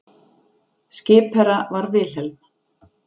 Skipherra var Wilhelm